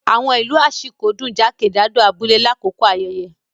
Awọn ilu Ashiko dun jakejado abule lakoko ayẹyẹ.